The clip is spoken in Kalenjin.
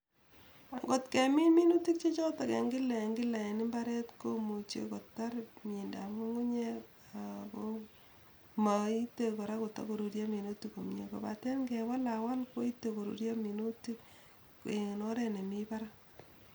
Ngot kemin minutik chechoton en kila en kila en imbaret komuche kotar miendap ngumgumyek ako moite koraa kota koruryo minutikk komie, kobate inewalawal koite koruryo minutik en oret nemii barak.